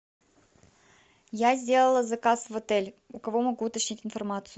я сделала заказ в отель у кого могу уточнить информацию